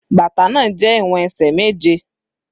Bàtà náà jẹ́ ìwọ̀n ẹsẹ̀ méje.